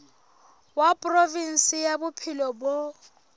wa provinse ya bophelo bo